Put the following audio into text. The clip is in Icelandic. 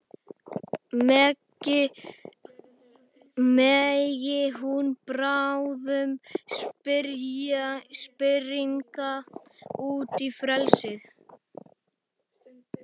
Megi hún bráðum springa út í frelsið.